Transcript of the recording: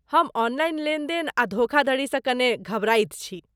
हम ऑनलाइन लेन देन आ धोखाधड़ी सँ कने घबराइत छी।